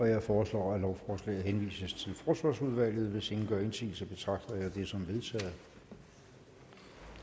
jeg foreslår at lovforslaget henvises til forsvarsudvalget hvis ingen gør indsigelse betragter jeg det som vedtaget